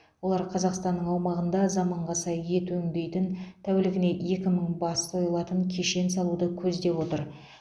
олар қазақстан аумағында заманға сай ет өңдейтін тәулігіне екі мың бас сойылатын кешен салуды көздеп отыр